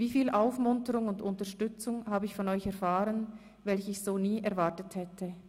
Wie viel Aufmunterung und Unterstützung habe ich von euch erfahren, welche ich so nie erwartet hätte!